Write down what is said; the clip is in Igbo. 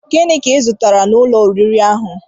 Gịnị ka I zụtara n'ụlọ oriri ahụ?